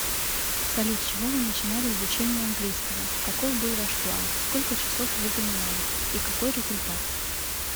салют с чего вы начинали изучение английского каков был ваш план сколько часов вы занимались и какой результат